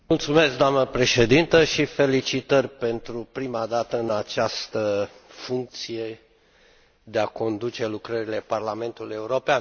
Doamnă președintă, felicitări pentru prima dată în această funcție, de a conduce lucrările Parlamentului European.